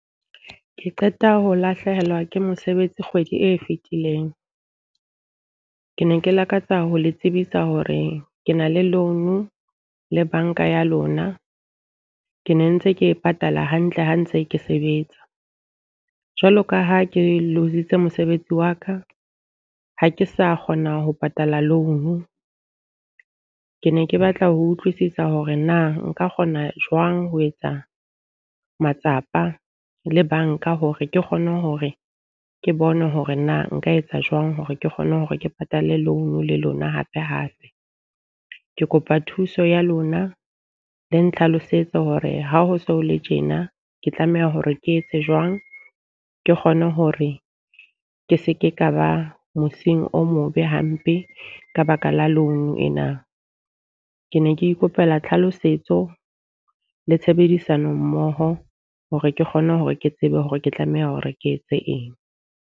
Ke qeta ho lahlehelwa ke mosebetsi kgwedi e fetileng. Ke ne ke lakatsa ho le tsebisa hore ke na le loan le banka ya lona. Ke ne ntse ke e patala hantle ha ntse ke sebetsa. Jwalo ka ha ke loose-tse mosebetsi wa ka, ha ke sa kgona ho patala loan. Ke ne ke batla ho utlwisisa hore na nka kgona jwang ho etsa matsapa le banka hore ke kgone hore ke bone hore na nka etsa jwang hore ke kgone hore ke patale loan le lona hape hape. Ke kopa thuso ya lona, le ntlhalosetse hore ha ho so le tjena ke tlameha hore ke etse jwang. Ke kgone hore ke seke ka ba mosing o mobe hampe ka ka baka la loan ena. Ke ne ke ikopela tlhalosetso le tshebedisano mmoho hore ke kgone hore ke tsebe hore ke tlameha hore ke etse eng.